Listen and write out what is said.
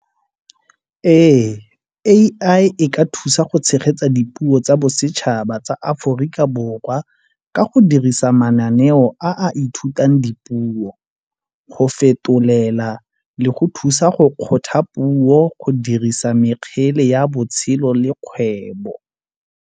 Ee, A_I e ka thusa go tshegetsa dipuo tsa bosetšhaba tsa Aforika Borwa ka go dirisa mananeo a a ithutang dipuo, go fetolela le go thusa go kgotha puo go dirisa mekgele ya botshelo le kgwebo.